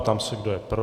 Ptám se, kdo je pro.